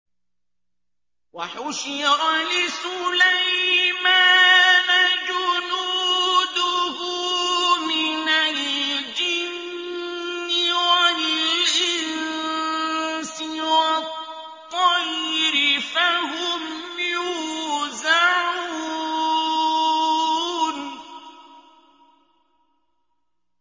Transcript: وَحُشِرَ لِسُلَيْمَانَ جُنُودُهُ مِنَ الْجِنِّ وَالْإِنسِ وَالطَّيْرِ فَهُمْ يُوزَعُونَ